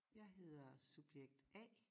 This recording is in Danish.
Jeg hedder subjekt A